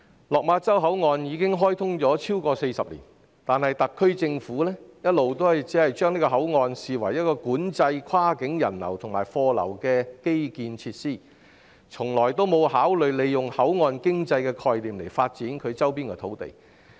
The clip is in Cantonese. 落馬洲口岸已開通超過40年，但特區政府一直只視該口岸為管制跨境人流及貨流的基建設施，從未考慮以口岸經濟的概念發展其周邊土地。